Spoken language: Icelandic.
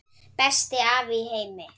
Besti afi í heimi.